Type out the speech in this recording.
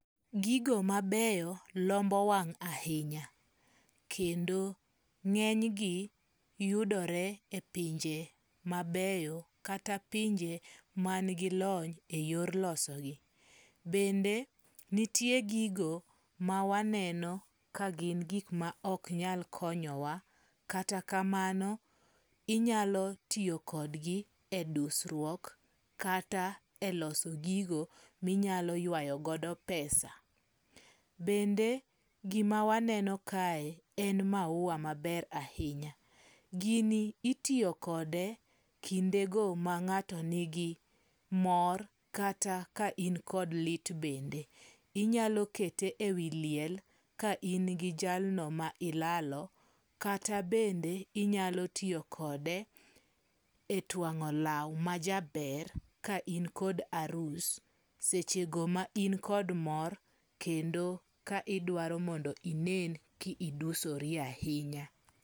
Gigo mabeyo lombo wang' ahinya. Kendo ng'eny gi yudore e pinje mabeyo kata pinje man gi lony e yor losogi. Bende nitie gigo ma waneno ka gin gik ma ok nyal konyowa. Kata kamano inyalo tiyokodgi e dusruok kata e loso gigo minyalo ywayo godo pesa. Bende gima waneno kae en maua maber ahinya. Gini itiyo kode kinde go mang'ato nigi mor kata ka in kod lit bende. Inyalo kete e wi liel ka in gi jalno ma ilalo. Kata bende inyalo tiyo kode e twang'o law ma jaber ka in kod arus. Seche go ma in kod mor kendo ka idwaro mondo inen ki idusori ahinya.